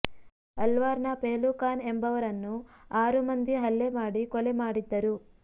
ಅಲ್ವಾರ್ ನ ಪೆಹ್ಲು ಖಾನ್ ಎಂಬವರನ್ನು ಆರು ಮಂದಿ ಹಲ್ಲೆ ಮಾಡಿ ಕೊಲೆ ಮಾಡಿದ್ದರು